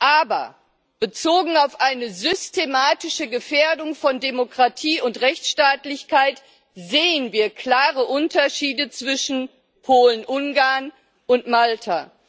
Aber bezogen auf eine systematische Gefährdung von Demokratie und Rechtsstaatlichkeit sehen wir klare Unterschiede zwischen Polen Ungarn und Malta.